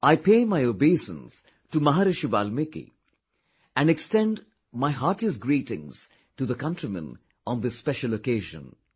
I pay my obeisance to Maharishi Valmiki and extend my heartiest greetings to the countrymen on this special occasion